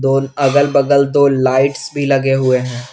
अगल बगल दो लाइट्स भी लगे हुए हैं।